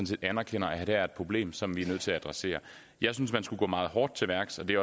set anerkender at her er problem som vi er nødt til at adressere jeg synes man skulle gå meget hårdt til værks og det